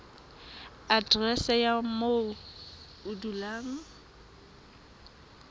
aterese ya moo o dulang